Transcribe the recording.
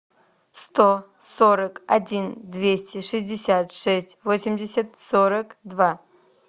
сто сорок один двести шестьдесят шесть восемьдесят сорок два